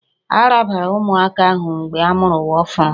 A rabara ụmụaka ahụ mgbe a mụrụ ha ọhụrụ